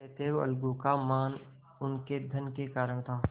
अतएव अलगू का मान उनके धन के कारण था